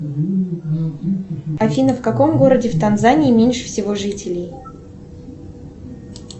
афина в каком городе в танзании меньше всего жителей